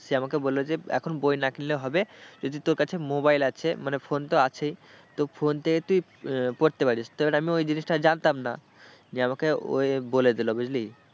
সে আমাকে বললো যে এখন বই না কিনলেও হবে যদি তোর কাছে mobile আছে মানে phone তো আছেই তো phone থেকে তুই পড়তে পারিস তো এবার আমি ওই জিনিসটা জানতাম না যে আমাকে ওই বলে দিল বুঝলি।